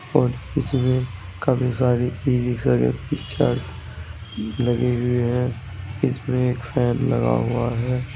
और इसमें काफ़ी सारी ई-रिक्शा के पिक्चर्स लगे हुए हैं। इसमें एक फैन लगा हुआ है।